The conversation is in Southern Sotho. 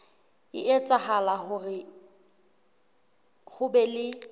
etsahala hore ho be le